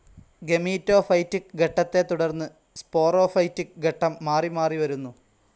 Gametophytic ഘട്ടത്തെ തുടർന്ന് sporophytic ഘട്ടം മാറി മാറി വരുന്നു.